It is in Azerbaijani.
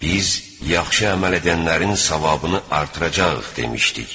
Biz yaxşı əməl edənlərin savabını artıracağıq" demişdik.